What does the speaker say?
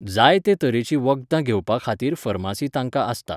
जाय ते तरेची वखदां घेवपा खातीर फर्मासी तांकां आसता